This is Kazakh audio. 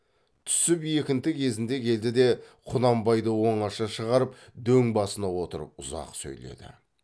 түсіп екінті кезінде келді де құнанбайды оңаша шығарып дөң басына отырып ұзақ сөйледі